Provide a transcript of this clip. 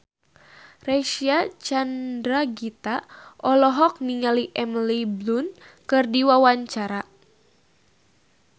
Reysa Chandragitta olohok ningali Emily Blunt keur diwawancara